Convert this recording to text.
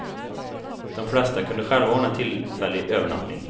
De flesta kunde själva ordna tillfällig övernattning.